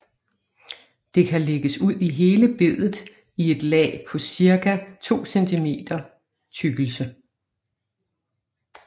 Det kan lægges ud i hele bedet i et lag på ce 2 cm tykkelse